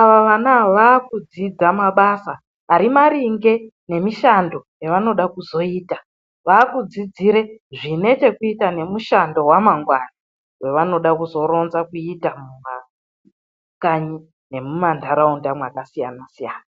Ava vana ava, vava kudzidza mabasa ari maringe nemishando yavanoda kuzoita vavakudzidzira zvine chekuita nemushando wamangwani wevanoda kuzoronza kuita mumakanyi nemumandaraunda akasiyana siyana.